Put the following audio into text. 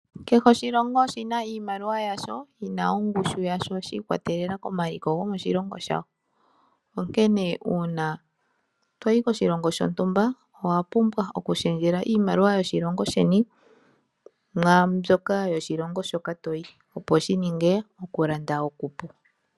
Kehe oshilongo oshina iimaliwa yasho, yina ongushu yasho shi ikwatelela komaliko gomoshilongo shawo, onkene uuna toyi koshilongo shontumba owapumbwa okulundululila iimaliwa yoshilongo sheni mwambyoka yoshilongo shoka toyi, opo shininge okulanda okupu.